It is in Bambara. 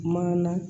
Maana